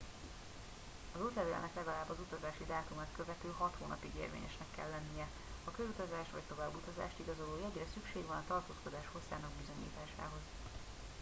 az útlevélnek legalább az utazási dátumát követő hat hónapig érvényesnek kell lennie a körutazást vagy továbbutazást igazoló jegyre szükség van a tartózkodás hosszának bizonyításához